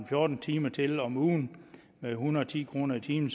fjorten timer til om ugen en hundrede og ti kroner i timen